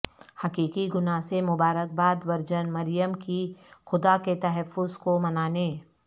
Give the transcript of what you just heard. حقیقی گناہ سے مبارک باد ورجن مریم کی خدا کے تحفظ کو منانے